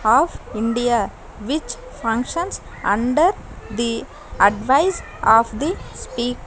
of india which functions under the advice of the spe --